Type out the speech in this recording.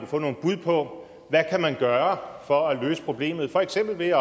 få nogle bud på hvad man kan gøre for at løse problemet for eksempel ved